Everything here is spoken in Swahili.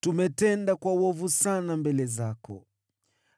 Tumetenda uovu sana mbele zako.